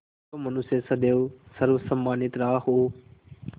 जो मनुष्य सदैव सर्वसम्मानित रहा हो